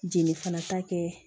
Jeli fana ta kɛ